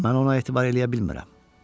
mən ona etibar eləyə bilmirəm.